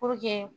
Puruke